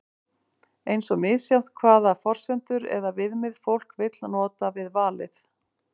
eins er misjafnt hvaða forsendur eða viðmið fólk vill nota við valið